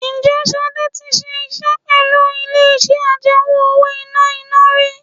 Ǹjẹ́ Ṣadé tí ṣiṣẹ́ pẹ̀lú ilé iṣẹ́ àjẹmó-owó-ìná iná rí?